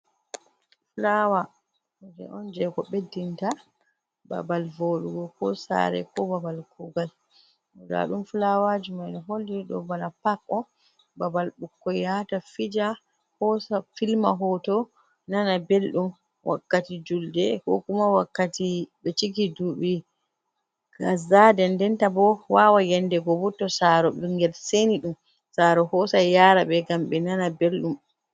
Flawa, kuje on je ko beddinta babal vodugo ko sare ko babal kugal. bodadum flawaji man holli do bana pak o babal bukko yata fija hosa filma hoto nana beldum wakkati julde ko kuma wakkati be ciki ɗubi kàza ɗenɗenta ɓo wawan yende go bô to saro bingel seni dum saro hosa yara be gam be nana beldum.